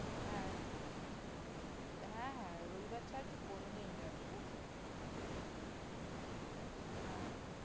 হ্যা হ্যা হ্যা রবিবার ছাড়া তুই কোনো দিন যা ঠিক আছে ঠিক আছে হ্যা হ্যা